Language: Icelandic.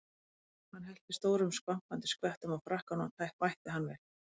Hann hellti stórum skvampandi skvettum á frakkann og vætti hann vel.